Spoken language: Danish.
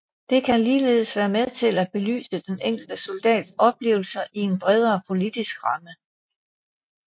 Det kan ligeledes være med til at belyse den enkelte soldats oplevelser i en bredere politisk ramme